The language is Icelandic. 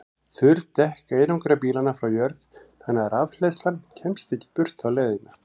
Þurr dekk einangra bílana frá jörð þannig að rafhleðslan kemst ekki burt þá leiðina.